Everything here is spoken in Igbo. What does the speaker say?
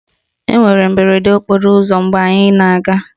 Enwere mberede okporo ụzọ mgbe anyị na-aga